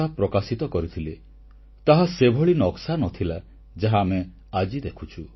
ଏହାର ମୁଖ୍ୟ ପ୍ରସଙ୍ଗରେ ସେମାନେ ଭାରତର ଗୋଟିଏ ନକ୍ସା ପ୍ରକାଶ କରିଥିଲେ ତାହା ସେଭଳି ନକ୍ସା ନ ଥିଲା ଯାହା ଆମେ ଆଜି ଦେଖୁଛୁ